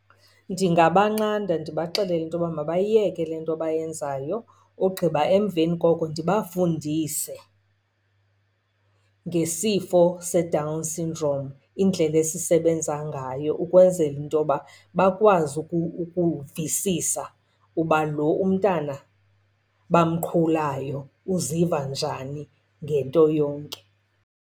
Ndingabanqanda, ndibaxelele into yoba mabayiyeke le nto bayenzayo. Ogqiba emveni koko ndibafundise ngesifo seDown syndrome, indlela esisebenza ngayo, ukwenzela into yoba bakwazi ukuvisisa uba lo umntana bamqhulayo uziva njani ngento yonke.